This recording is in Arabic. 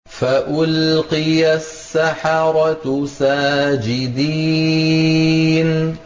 فَأُلْقِيَ السَّحَرَةُ سَاجِدِينَ